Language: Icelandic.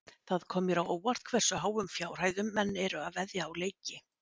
Það kom mér á óvart hversu háum fjárhæðum menn eru að veðja á leiki.